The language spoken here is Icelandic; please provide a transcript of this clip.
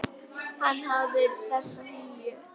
Hann hafði þessa hlýju.